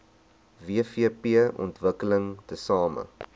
wvp ontwikkel tesame